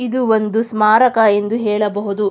ಇದು ಒಂದು ಸ್ಮಾರಕ ಎಂದು ಹೇಳಬಹುದು.